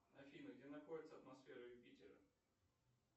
афина где находится атмосфера юпитера